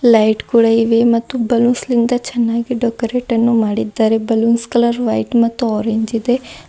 Light ಕೂಡ ಇವೆ ಮತ್ತು ಬಲೂನ್ಸ್ ಲಿಂದ ಚೆನ್ನಾಗಿ ಡೆಕೋರೆಟ ನ್ನು ಮಾಡಿದ್ದಾರೆ ಬಲೂನ್ಸ್ ಕಲರ್ ವೈಟ್ ಮತ್ತು ಆರೆಂಜ್ ಇದೆ.